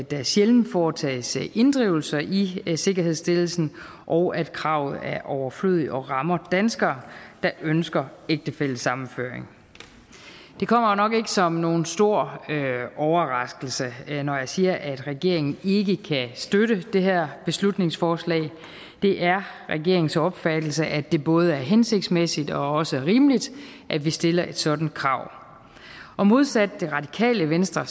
der sjældent foretages inddrivelser i sikkerhedsstillelsen og at kravet er overflødigt og rammer danskere der ønsker ægtefællesammenføring det kommer nok ikke som nogen stor overraskelse når jeg siger at regeringen ikke kan støtte det her beslutningsforslag det er regeringens opfattelse at det både er hensigtsmæssigt og også rimeligt at vi stiller et sådant krav og modsat det radikale venstre